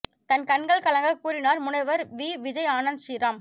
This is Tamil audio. தன் கண்கள் கலங்க கூறினார் முனைவர் வி விஜய் ஆனந்த் ஸ்ரீ ராம்